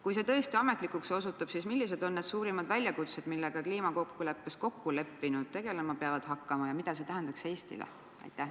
Kui see tõesti ametlikuks otsuseks osutub, siis millised on suurimad väljakutsed, millega kliimakokkuleppes kokku leppinud riigid tegelema peavad hakkama ja mida see tähendaks Eestile?